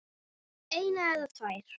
eina eða tvær.